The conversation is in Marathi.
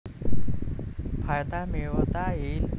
फायदा मिळवता येईल.